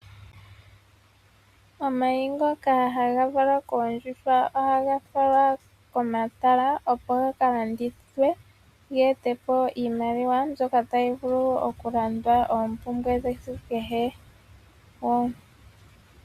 Omayi ngoka haga valwa koondjuhwa ohaga falwa komatala opo gakalandithwe yamone iimaliwa mbyoka tayi vulu okulanda oompumbwe dhesiku kehe.